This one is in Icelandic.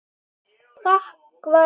Þak var ekkert.